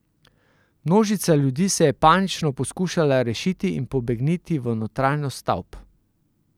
Množica ljudi se je panično poskušala rešiti in pobegniti v notranjost stavb.